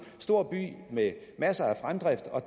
stor by med masser af fremdrift og